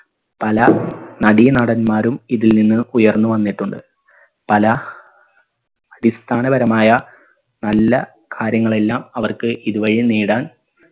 പല നടീനടന്മാരും ഇതിൽ നിന്നും ഉയർന്നു വന്നിട്ടുണ്ട് പല അടിസ്ഥാനപരമായ നല്ല കാര്യങ്ങളെല്ലാം അവർക്ക് ഇത് വഴി നേടാൻ